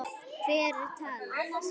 Hver talar?